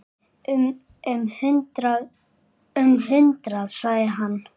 Um hundrað sagði hann.